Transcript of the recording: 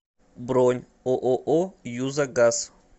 бронь ооо юза газ